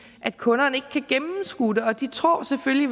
at kunderne ikke kan gennemskue det og de tror selvfølgelig